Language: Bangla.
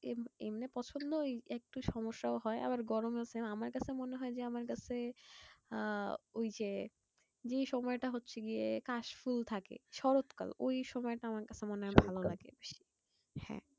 এম~ এমনে পছন্দই একটু সমস্যাও হয়। আবার গরমও আছে। আমার কাছে মনে হয় যে, আমার কাছে আহ ওই যে যেই সময়টা হচ্ছে গিয়ে কাশফুল থাকে শরৎ কাল। ওই সময়টা আমার কাছে মনে হয় ভালো লাগে। হ্যাঁ